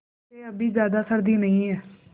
वैसे अभी ज़्यादा सर्दी नहीं है